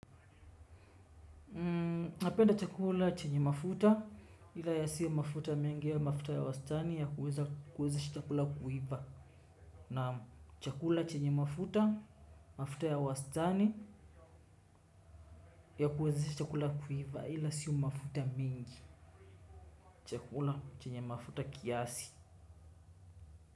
Napenda chakula chenye mafuta ila yasiwe mafuta mengi yawe mafuta ya wastani ya kuweza kuwezesha chakula kuiva. Na chakula chenye mafuta mafuta ya wastani ya kuwezesha chakula kuiva ila sio mafuta mengi. Chakula chenye mafuta kiasi.